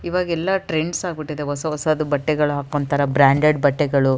ಇವಾಗೆಲ್ಲ ಟ್ರೆಂಡ್ಸ್ ಆಗ್ಬಿಟ್ಟಿದೆ ಹೊಸ ಹೊಸದು ಬಟ್ಟೆಗಳು ಹಾಕೋಂತರೇ ಬ್ರಾಂಡೆಡ್ ಬಟ್ಟೆಗಳು.